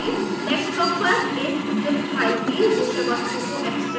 desktop पर इस zip file की विषय वस्तु को extract करें